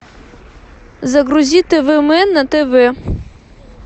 загрузи тв мэн на тв